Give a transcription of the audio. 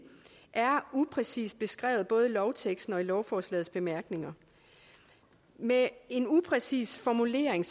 er upræcist beskrevet både i lovteksten og i lovforslagets bemærkninger med en upræcis formulering